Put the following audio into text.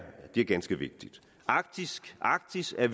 er ganske vigtigt arktis arktis er